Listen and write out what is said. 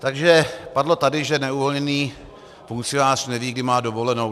Takže padlo tady, že neuvolněný funkcionář neví, kdy má dovolenou.